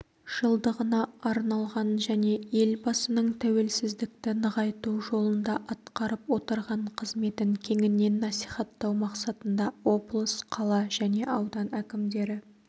жылдығына арналған және елбасының тәуелсіздікті нығайту жолында атқарып отырған қызметін кеңінен насихаттау мақсатында облыс қала және аудан әкімдері